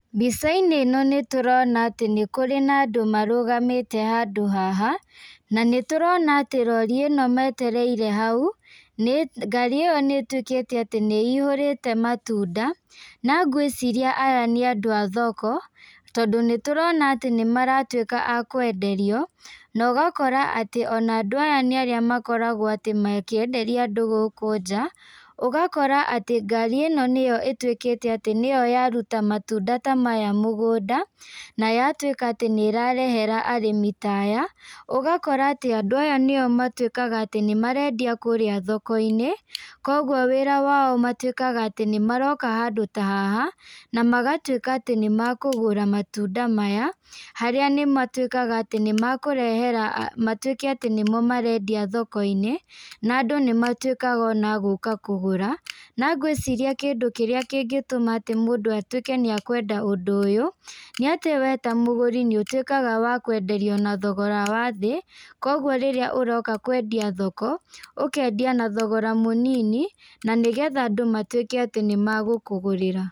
Mbica- inĩ ĩno nĩ tũrona atĩ nĩ kũrĩ na andũ marũgamĩte handũ haha, na nĩ tũrona atĩ rori ĩno metereire hau, nĩ ngari ĩyo nĩ ĩtuĩkĩte atĩ nĩ ĩihũrĩte matunda, na gwĩciria aya nĩ andũ a thoko, tondũ nĩ tũrona atĩ nĩ maratuĩka akwenderio, na ũgakora atĩ ona andũ aya nĩ arĩa makoragwo atĩ makĩenderia andũ gũkũ nja, ũgakora atĩ ngari ĩno nĩyo ĩtuĩkĩte atĩ nĩyo yaruta matunda tamaya mũgũnda, na yatuĩka atĩ nĩ ĩrarehera arĩmi taya, ũgakora atĩ andũ aya nĩo matuĩkaga atĩ nĩ marendia kũrĩa thoko-inĩ, kwoguo wĩra wao matuĩkaga atĩ nĩ maroka handũ ta haha, na magatuĩka atĩ nĩ makũgũra matunda maya, harĩa nĩ matuĩkaga atĩ nĩ makũrehera matuĩke atĩ nĩmo marendia thoko-inĩ, na andũ nĩ matuĩkaga ona agũka kũgũra, na ngwĩciria kĩndũ kĩrĩa kĩngĩtũma atĩ mũndũ atuĩke atĩ nĩ ekwenda ũndũ ũyũ, nĩ atĩ we ta mũgũri nĩ ũtuĩkaga wa kwenderio na thogora wa thĩ. kwoguo rĩrĩa ũroka kwendia thoko, ũkendia na thogora mũnini, na nĩ getha andũ matuĩke nĩ megũkũgũrĩra.